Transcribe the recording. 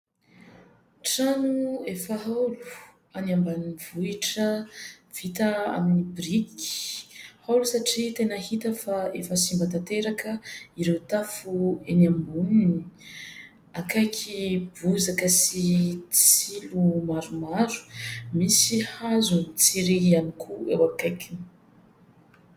Trano efa haolo any ambanivohitra vita amin'ny biriky. Haolo satria tena hita fa efa simba tanteraka ireo tafo eny amboniny, akaiky bozaka sy tsilo maromaro. Misy hazo sy tsilo ihany koa eo akaikiny.